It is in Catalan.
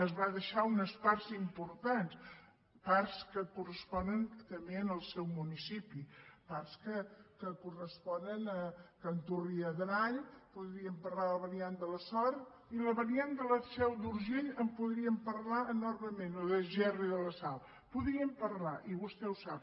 es va deixar unes parts importants parts que corresponen també al seu municipi parts que corresponen a canturri adrall podríem parlar de la variant de sort i de la variant de la seu d’urgell en podríem parlar enormement o de gerri de la sal en podríem parlar i vostè ho sap